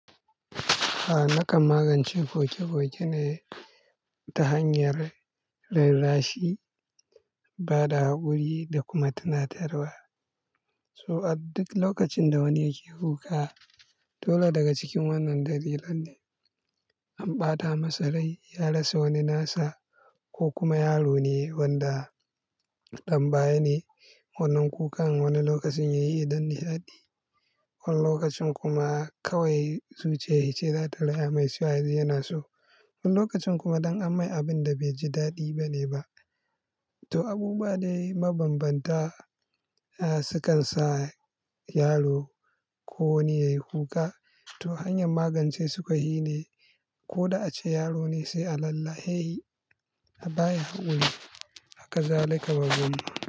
A'a nakan magance foke foke ne ta hanyar rera rashi, bada hakuri da kuma tunatarwa. To a duk lokacin da wani yake kuka dole daga cikin wannan dalilan ne, an ɓata masarai, ya rasa wani nasa ko kuma yaro ne wanda tambaya ne wannan kukan wani lokacin yayi don nishaɗi. Wani lokacin kuma kawai zuciya yace za ta rai amai su haɗu yana so. Wani lokacin kuma don an mai abun da bai ji daɗi bane ba. To abubuwa dai mabambanta a sukan sa yaro ko wani yayi kuka. To hanyar magance su ka hine ko da ace yaro ne sai a lalla'e hi, a baya hakuri, haka za ka bar gum.